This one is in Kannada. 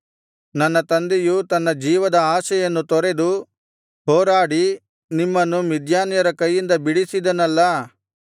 ನನ್ನ ತಂದೆಯು ತನ್ನ ಜೀವದ ಆಶೆಯನ್ನು ತೊರೆದು ಹೋರಾಡಿ ನಿಮ್ಮನ್ನು ಮಿದ್ಯಾನ್ಯರ ಕೈಯಿಂದ ಬಿಡಿಸಿದನಲ್ಲಾ